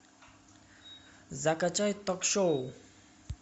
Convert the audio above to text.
закачай ток шоу